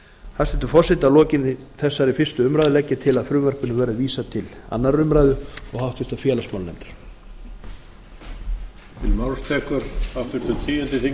hæstvirtur forseti að lokinni þessari fyrstu umræðu legg ég til að frumvarpinu verði vísað til annarrar umræðu og háttvirtur félagsmálanefndar